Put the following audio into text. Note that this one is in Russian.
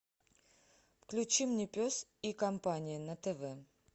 включи мне пес и компания на тв